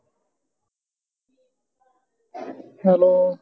hello